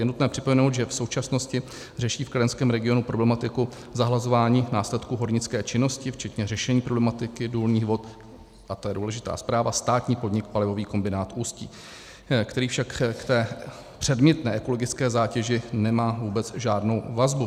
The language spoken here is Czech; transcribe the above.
Je nutné připomenout, že v současnosti řeší v kladenském regionu problematiku zahlazování následků hornické činnosti včetně řešení problematiky důlních vod - a to je důležitá zpráva - státní podnik Palivový kombinát Ústí, který však k té předmětné ekologické zátěži nemá vůbec žádnou vazbu.